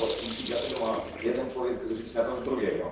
I dlaczego ma jeden człowiek żyć na koszt drugiego?